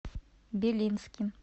белинским